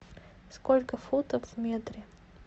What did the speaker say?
сколько футов в метре